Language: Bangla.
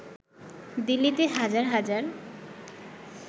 দিল্লিতে হাজার হাজার